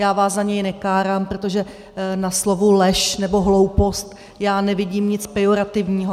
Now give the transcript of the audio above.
Já vás za něj nekárám, protože na slovu lež nebo hloupost já nevidím nic pejorativního.